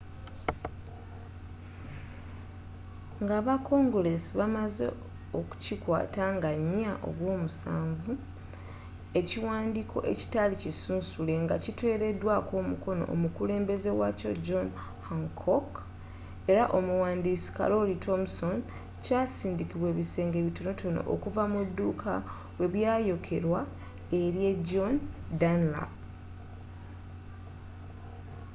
nga aba konguleesi bamaze okukikwaata nga 4 ogw'omusanvu ekiwaandiko ekitaali kisunsule nga kiteeredwaako omukono omukulembeeze waakyo john hancock era omuwandiisi kalooli thomson kyasindikibwa ebisenge bitonotono okuva mu duuka webyayokerwa elye john dunlap